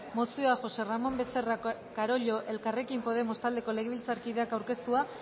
mozioa josé ramón becerra carollo elkarrekin podemos taldeko legebiltzarkideak aurkeztua